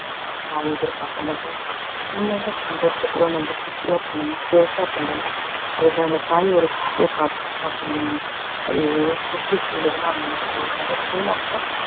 அந்த தாய் எதிர்ப்பாக்கமாட்டாங்க சின்னதா பன்றத கூட ரொம்ப குஷியா பண்ணணும் அதுல அந்த தாயோட குஷிய பாக்க~ பாக்கணும் அது எப்படி சொல்றதுன்னா அந்த ஒரு முகத்துலயே நம்ம